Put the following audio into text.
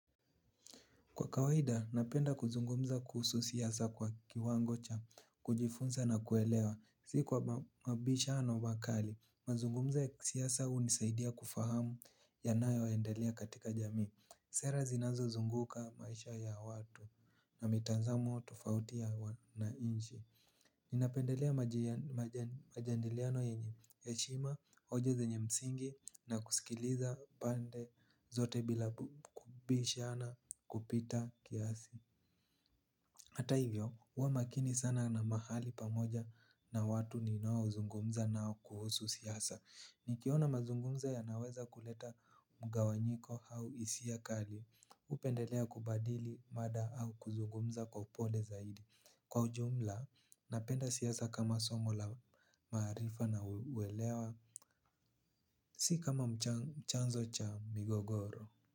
Kwa kawaida, napenda kuzungumza kuhusu siasa kwa kiwango cha, kujifunza na kuelewa. Si kwa mabishano wa kali, mazungumza ya kisiasa hunisaidia kufahamu yanayo endelea katika jamii. Sera zinazo zunguka maisha ya watu na mitanzamo tufauti ya wanainchi. Ninapendelea majandiliano yenye heshima, hoja zenye msingi na kusikiliza pande zote bila kubishana kupita kiasi. Hata hivyo, uwa makini sana na mahali pamoja na watu ninao zungumza nao kuhusu siasa. Nikiona mazungumza yanaweza kuleta mgawanyiko au isia kali. Upendelea kubadili mada au kuzungumza kwa upole zaidi. Kwa ujumla, napenda siasa kama somo la maarifa na uwelewa, si kama mchanzo cha migogoro.